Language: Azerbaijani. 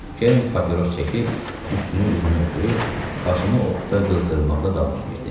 Kern papiros çəkib tüstünü üzümə üfürür, başımı odda qızdırmaqda davam edirdi.